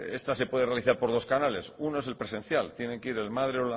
esta se puede realizar por dos canales uno es el presencial tiene que ir